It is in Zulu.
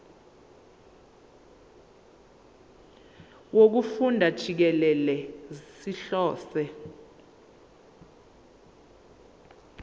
wokufunda jikelele sihlose